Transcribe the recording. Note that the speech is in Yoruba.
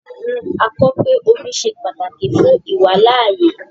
A kọ pe omi ṣẹ pátàkì fún ìwàlàayé